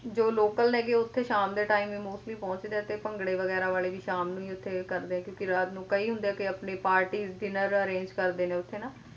ਜੋ local ਨੇ ਉੱਥੇ ਸ਼ਾਮ ਦੇ time mostly ਪਹੁੰਚਦੇ ਆ ਤੇ ਭੰਗੜੇ ਵਗੈਰਾ ਵਾਲੇ ਵੀ ਸ਼ਾਮ ਨੂੰ ਹੀ ਉੱਥੇ ਕਰਦੇ ਆ ਕਿਉਂਕਿ ਰਾਤ ਨੂੰ ਕਈ ਹੁੰਦੇ ਆ ਕੇ ਆਪਣੀ parties dinner arrange ਕਰਦੇ ਨੇ ਉੱਥੇ ਨਾ,